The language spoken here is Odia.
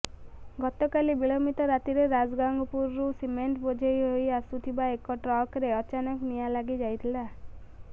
ଗତକାଲି ବିଳମ୍ୱିତ ରାତିରେ ରାଜଗାଙ୍ଗପୁରରୁ ସିମେଣ୍ଟ ବୋଝଇ ହୋଇ ଆସୁଥିବା ଏକ ଟ୍ରକରେ ଅଚାନକ ନିଆଁ ଲାଗି ଯାଇଥିଲା